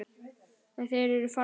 En þeir eru farnir.